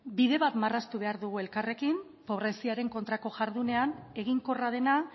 bide bat marraztu behar dugu elkarrekin pobreziaren kontrako jardunean eginkorra dena